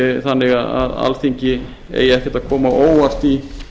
þannig að alþingi eigi ekkert að koma á óvart í